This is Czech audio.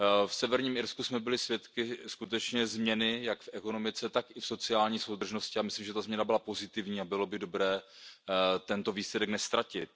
V Severním Irsku jsme byli svědky skutečné změny jak v ekonomice, tak i v sociální soudržnosti a myslím, že ta změna byla pozitivní a bylo by dobré tento výsledek neztratit.